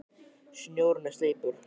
Snjórinn er sleipur!